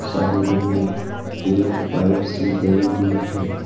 Side में एक pipe सी गई हुई है।